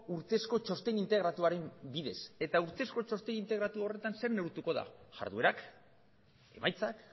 urtezko txosten integratuaren bidez eta urteko txosten integratu horretan zer neurtuko da jarduerak emaitzak